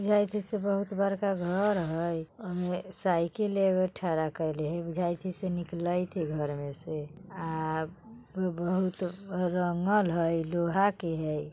ये किसी बहुत बड़का घर हइ ओमे साइकिल एगो ठड़ा कैइले हइ बुझाई छई से निकलईत हइ घर मे से। आ बहुत घर रंगल हइ लोहा के हइ।